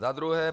Za druhé.